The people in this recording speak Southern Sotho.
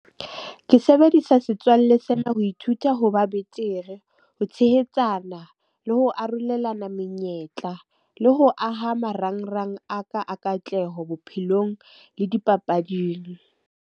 Ke sebedisa setswalle sena ho ithuta, ho ba betere, ho tshehetsana, le ho arolelana menyetla le ho aha marangrang a ka a katleho bophelong le dipapading.